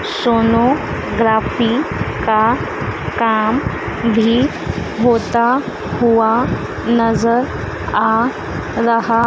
sonography का काम भी होता हुआ नजर आ रहा--